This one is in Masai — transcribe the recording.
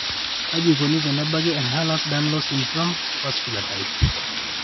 Kaji eikoni tenebaki Ehlers Danlos syndrome, vascular type?